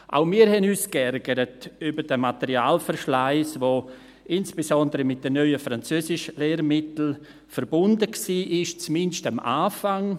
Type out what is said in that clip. Auch wir haben uns geärgert über den Materialverschleiss, der insbesondere mit den neuen Französischlehrmitteln verbunden war, zumindest am Anfang.